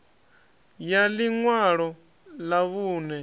ya ḽi ṅwalo ḽa vhuṋe